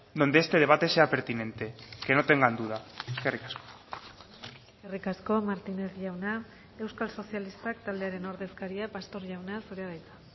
donde este debate sea pertinente que no tengan duda eskerrik asko eskerrik asko martínez jauna euskal sozialistak taldearen ordezkaria pastor jauna zurea da hitza